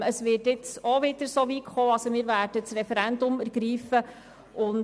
Es wird auch dieses Mal so weit kommen, wenn wir das Referendum ergreifen werden.